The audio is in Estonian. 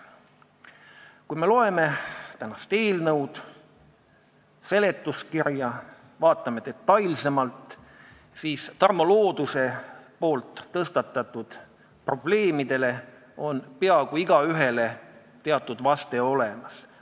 Kui me loeme eelnõu ja seletuskirja, vaatame neid detailsemalt, siis näeme, et peaaegu kõigile Tarmo Looduse tõstatatud probleemidele on siin teatud vaste olemas.